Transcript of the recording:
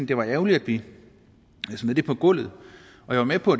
det var ærgerligt at vi smed det på gulvet jeg er med på